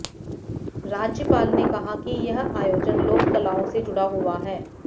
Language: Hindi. राज्यपाल ने कहा कि यह आयोजन लोक कलाओं से जुड़ा हुआ है